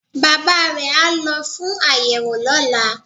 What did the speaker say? Bàbá re á lo fún àyẹ̀wò lọ́la